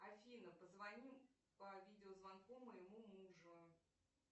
афина позвони по видеозвонку моему мужу